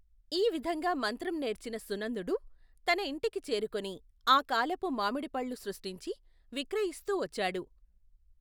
ఈవిధంగా మంత్రం నేర్చిన సునందుడు, తన ఇంటికి చేరుకొని, ఆకాలపు మామిడి పళ్ళు సృష్ఠించి, విక్రయిస్తూ వచ్చాడు.